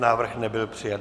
Návrh nebyl přijat.